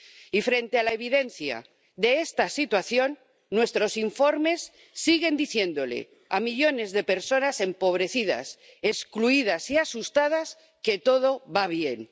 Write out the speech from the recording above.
Y, frente a la evidencia de esta situación, nuestros informes siguen diciéndoles a millones de personas empobrecidas, excluidas y asustadas que todo va bien.